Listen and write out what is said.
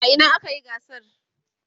a Ina akayi gasar?